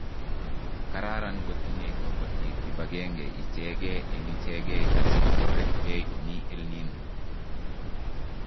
Kararan kotinye kobitiik kibagenge ichegee eng ichegee asi kotoretgei Komii EL Nino